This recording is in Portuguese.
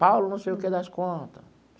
Paulo, não sei o que das conta.